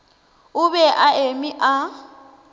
o be a eme a